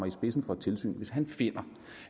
i spidsen for et tilsyn og han finder